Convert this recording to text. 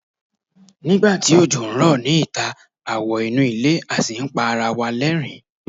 nigba ti ojo n rọ ni ita, a wo inu ile a sì n pa ara wa l'ẹrin